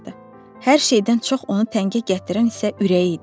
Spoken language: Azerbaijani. Hər şeydən çox onu təngə gətirən isə ürəyi idi.